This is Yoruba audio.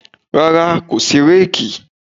Rárá, kò sí réèkì.